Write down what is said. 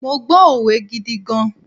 Mo gbọ́ òwe gidi gan.